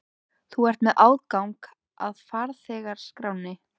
Þú ert með aðgang að farþegaskránni.